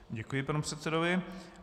Děkuji panu předsedovi.